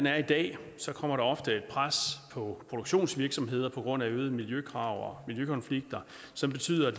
er i dag kommer der ofte et pres på produktionsvirksomheder på grund af øgede miljøkrav og miljøkonflikter som betyder at